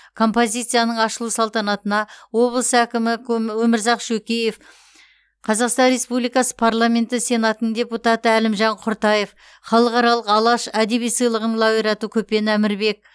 композицияның ашылу салтанатына облыс әкімі өмірзақ шөкеев қазақстан республикасы парламенті сенатының депутаты әлімжан құртаев халықаралық алаш әдеби сыйлығының лауреаты көпен әмірбек